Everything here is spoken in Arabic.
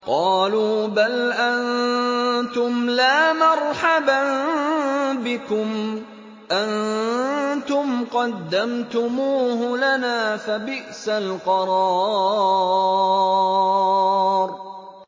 قَالُوا بَلْ أَنتُمْ لَا مَرْحَبًا بِكُمْ ۖ أَنتُمْ قَدَّمْتُمُوهُ لَنَا ۖ فَبِئْسَ الْقَرَارُ